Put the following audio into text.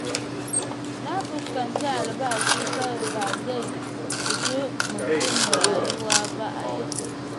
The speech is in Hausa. Na fuskanci albashi kawai ba zai ishi mutum rayuwa ba a yanzu.